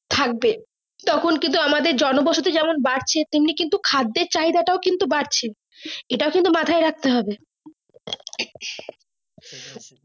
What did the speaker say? থাকবে তখন কিন্তু আমাদের জন বসত যেমন বাড়ছে তেমনি কিন্তু খাদের চায়িদা টাও কিন্তু বাড়ছে এটা কিন্তু মাথায় রাখতে হবে